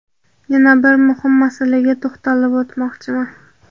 yana bir muhim masalaga to‘xtalib o‘tmoqchiman.